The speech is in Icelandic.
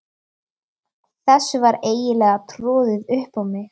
Þessu var eiginlega troðið upp á mig.